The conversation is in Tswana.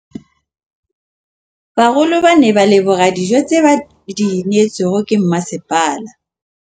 Bagolo ba ne ba leboga dijô tse ba do neêtswe ke masepala.